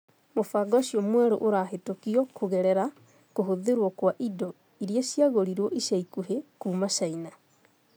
Mũbango ũcio mwerũ ũrahĩtũkio kũgerera kũhũthĩrũo kwa indo irĩa ciagũrirũo ica ikuhĩ kuuma Caina.